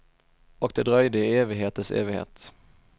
Och det dröjde i evigheters evighet.